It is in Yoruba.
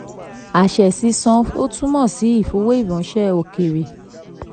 23. àṣẹ sísan ò túmọ̀ sí ìwé ìfowóránṣẹ́ òkèèrè.